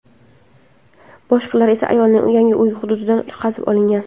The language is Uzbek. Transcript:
Boshqalari esa ayolning yangi uyi hududidan qazib olingan.